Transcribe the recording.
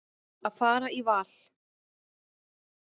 Að fara í val.